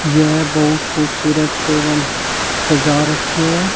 यह बहुत खूबसूरत टेबल सजा रखे हैं।